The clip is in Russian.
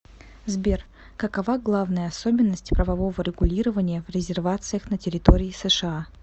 сбер какова главная особенность правового регулирования в резервациях на территории сша